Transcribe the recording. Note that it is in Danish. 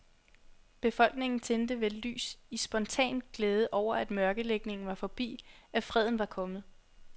Befolkningen tændte vel lys i spontan glæde over, at mørkelægningen var forbi, at freden var kommet.